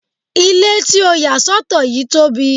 Ile ti o ya sọtọ yii tobi